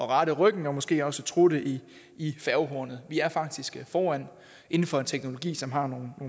rette ryggen og måske også trutte i i færgehornet vi er faktisk foran inden for en teknologi som har nogle